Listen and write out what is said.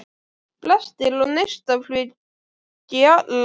Brestir og neistaflug í allar áttir.